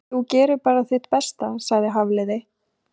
Þú gerir bara þitt besta sagði Hafliði.